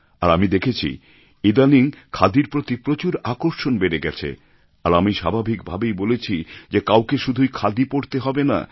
আর আমি দেখেছি ইদানিং খাদির প্রতি প্রচুর আকর্ষণ বেড়ে গেছে আর আমি স্বাভাবিক ভাবেই বলেছি যে কাউকে শুধুই খাদি পড়তে হবে না